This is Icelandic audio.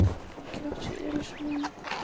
Enginn átti sér ills von, þótt